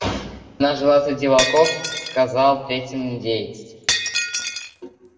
она жила среди волков сказал третий индеец